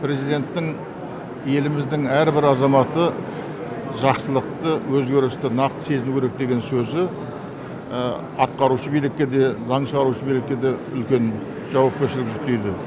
президенттің еліміздің әрбір азаматы жақсылықты өзгерісті нақты сезіну керек деген сөзі атқарушы билікке де заң шығарушы билікке де үлкен жауапкершілік жүктейді